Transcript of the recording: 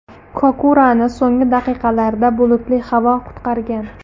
Kokurani so‘nggi daqiqalarda bulutli havo qutqargan.